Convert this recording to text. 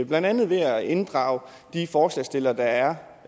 blandt andet ved at inddrage de forslagsstillere der er